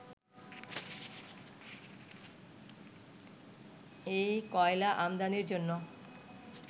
এই কয়লা আমদানির জন্য